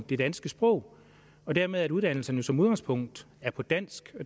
det danske sprog og dermed at uddannelserne som udgangspunkt er på dansk